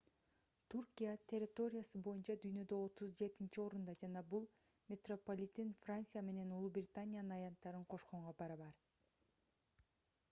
түркия территориясы боюнча дүйнөдө 37-орунда жана бул метрополитен франция менен улуу британиянын аянттарын кошконго барабар